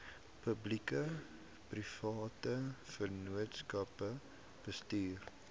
publiekeprivate vennootskappe bestuur